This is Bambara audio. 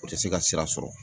O tɛ se ka sira sɔrɔ.